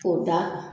K'o da kan